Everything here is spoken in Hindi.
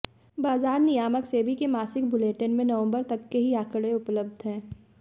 बाजार नियामक सेबी के मासिक बुलेटिन में नवंबर तक के ही आंकड़े उपलब्ध हैं